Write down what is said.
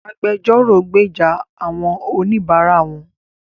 Agbẹjọ́rò gbèjà àwọn oníbara wón.